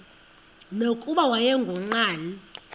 nokuba wayengu nqal